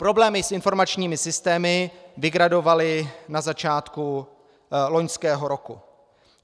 Problémy s informačními systémy vygradovaly na začátku loňského roku.